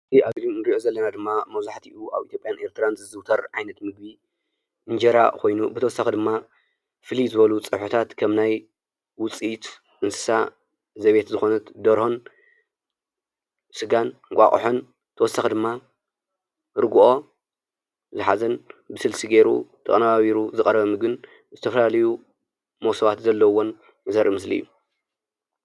እዚ ኣብዚ እንርእዮ ዘለና ድማ መብዛሕትኡ ኣብ ኢትዩጵያን ኤርትራን ዝዝውተር ዓይነት ምግቢ እንጀራ ኮይኑ ብተወሳኪ ድማ ፍልይ ዝበሉ ፀብሕታት ከም ናይ ውፅኢት እንስሳ ዘቤት ዝኮነት ደርሆን፣ ስጋን፣ እንቋቁሖን ብተወሳኪ ድማ ርግኦ ዝሓዘን ብስልሲ ገይሩ ተቀነባቢሩ ዝቐረበ ምግቢን ዝተፈላለዩ መሰባት ዘለውዎን ዘርኢ ምስሊ እዩ።